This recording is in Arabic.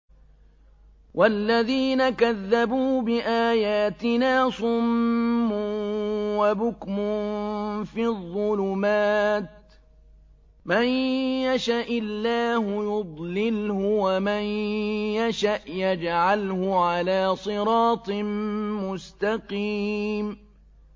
وَالَّذِينَ كَذَّبُوا بِآيَاتِنَا صُمٌّ وَبُكْمٌ فِي الظُّلُمَاتِ ۗ مَن يَشَإِ اللَّهُ يُضْلِلْهُ وَمَن يَشَأْ يَجْعَلْهُ عَلَىٰ صِرَاطٍ مُّسْتَقِيمٍ